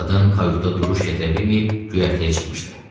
Qadın kayuta duruş gətirə bilməyib göyərtəyə çıxmışdı.